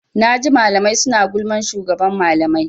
Naji malamai suna gulman shugaban malamai.